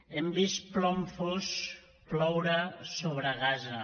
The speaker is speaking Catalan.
hem vist plom fos ploure sobre gaza